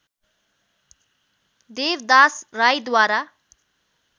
Devdas राईद्वारा